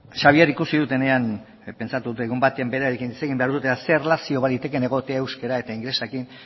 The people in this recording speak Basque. xabier ikusi dudanean pentsatu dut egun baten berarekin hitz egin behar du eta zer erlazio balitekeen egotea euskera eta ingelesarekin